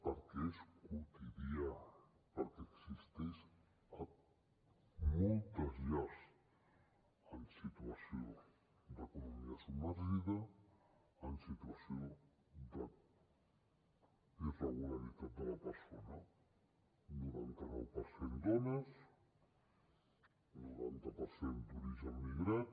perquè és quotidià perquè existeix a moltes llars en situació d’economia submergida en situació d’irregularitat de la persona noranta nou per cent dones noranta per cent d’origen migrat